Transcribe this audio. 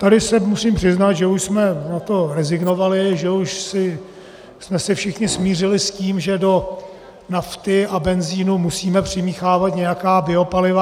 Tady se musím přiznat, že už jsme na to rezignovali, že už jsme se všichni smířili s tím, že do nafty a benzinu musíme přimíchávat nějaká biopaliva.